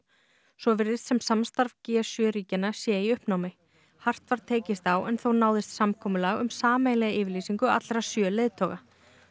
svo virðist sem samstarf g sjö ríkjanna sé í uppnámi hart var tekist á en þó náðist samkomulag um sameiginlega yfirlýsingu allra sjö leiðtoga